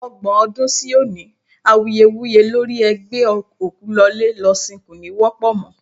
Ọgbọ́n ọdún sí òní, awuyewuye lórí ẹ gbé òkú lọlé lọ sín kò ní wọ́pọ̀ mọ́.